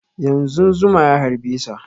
Yanzun zuma ya harbe sa